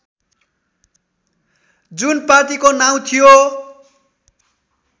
जुन पार्टीको नाउँ थियो